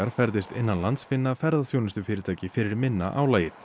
ferðist innanlands finna ferðaþjónustufyrirtæki fyrir minna álagi